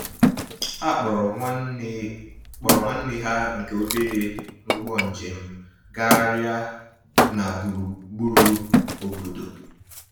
Ha kpọọrọ nwanne kpọọrọ nwanne ha nke obere n'ụgbọ njem gagharịa na burugburu obodo.